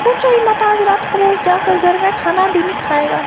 कुछ नहीं पता आज रात को जाकर घर में खाना भी नहीं खाएगा।